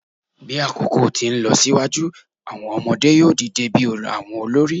Bi akoko ti nlọsiwaju, awọn ọmọde yoo dide bi awọn olori